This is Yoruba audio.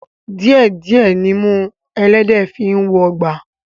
Díẹ̀ díẹ̀ nimú ẹlẹ́dẹ̀ẹ́ fi ń wọgbà